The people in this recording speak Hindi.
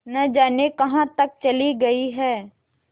न जाने कहाँ तक चली गई हैं